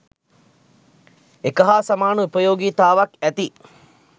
එක හා සාමන උපයෝගී තාවක් ඇති